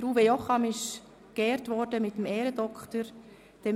Uwe Jocham wurde mit dem Ehrendoktor geehrt: